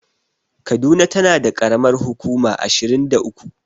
Kaduna tana da ƙaramar hukuma ashirin da uku.